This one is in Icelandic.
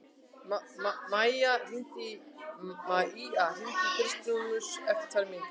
Maía, hringdu í Kristrúnus eftir tvær mínútur.